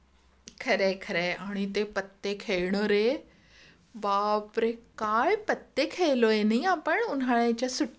खरे आहे खरे आहे आणि ते पत्ते खेळणारे बापरे काय पत्ते खेळले नाही का आपण पण उन्हाळ्याच्या सुट्ट्यांमध्ये